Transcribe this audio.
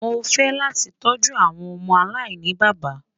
Mọ ní fẹ̀ lati tọju awọn ọmọ aláìnibaba